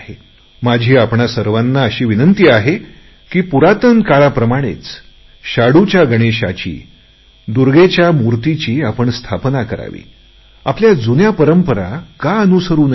माझी आपणा सर्वांना प्रार्थना आहे की पुरातन काळासारखे शाडूच्या गणेश आणि दुर्गामातेच्या मूर्तीचा उपयोग करावा आणि आपल्या जुन्या परंपरा का अनुसरु नयेत